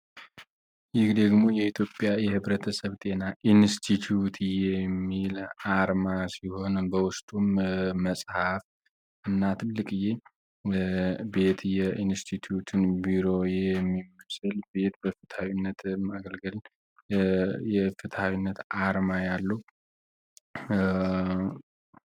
ይህ ደግሞ የኢትዮጵያ ህብረተሰብ ጤና ኢንስቲትዩት የሚል አርማ ሲሆን በውስጡም መጽሀፍ ያለው ሲሆን በውስጡም ትልቅዬ ኢንስቲቱን ቢሮ የሚመስል ቤት በፍትሃዊነት የማገልገል የፍትሃዊነት አርማ ያለው ነው።